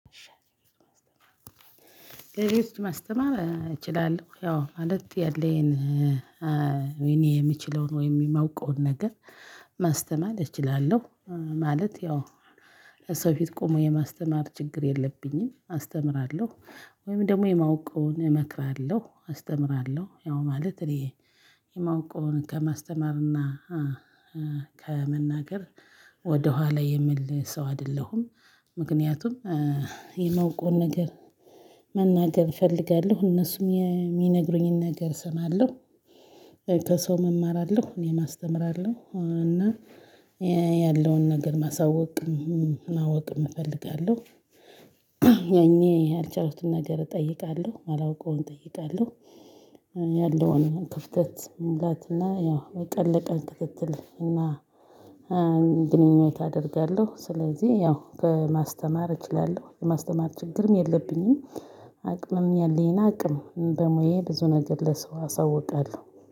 እሺ ማስተማር እችላለሁ ያው ማለት ያለኝን እኔ የምችለውን ወይም የማውቀውን ነገር ማስተማር እችላለሁ ማለት ያው ለሰው ፊት ቆሞ የማስተማር ችግር የለብኝም አስተምራለሁ። ወይም ደግሞ የማውቀውን እመክራለሁ አስተምራለሁ ያው ማለት እኔ የማውቀውን ከማስተማርና ከመናገር ወደኋላ የምል ሰው አይደለሁም። ምክንያቱም የማውቀውን ነገር መናገር እፈልጋለሁ እነሱም የሚነግሩኝን ነገር እሰማለሁ። ከሰውም እማራለሁ እኔ አስተምራለሁ እና ያለውን ነገር ማሳወቅም ማወቅም እፈልጋለሁ። ያኔ ያልቻሉትን ነገር እጠይቃለሁ ማላውቀውን እጠይቃለሁ። ያለውን ክፍተት መሙላት እና ያው የቀን ለቀን ክትትል እና ግንኙነት አደርጋለሁ። ስለዚህ ያው ከማስተማር እችላለሁ የማስተማር ችግርም የለብኝም። አቅምም ያለኝ አቅም በሙያዬ ብዙ ነገር ለሰው አሳውቃለሁ።